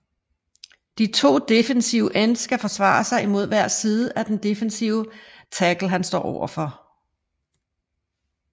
De to defensive ends skal forsvare mod hver side af den defensive tackle han står over for